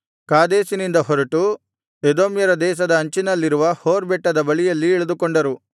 ಕಾದೇಶಿನಿಂದ ಹೊರಟು ಎದೋಮ್ಯರ ದೇಶದ ಅಂಚಿನಲ್ಲಿರುವ ಹೋರ್ ಬೆಟ್ಟದ ಬಳಿಯಲ್ಲಿ ಇಳಿದುಕೊಂಡರು